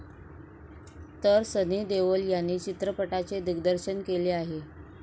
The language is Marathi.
तर सनी देओल यांनी चित्रपटाचे दिग्दर्शन केलं आहे.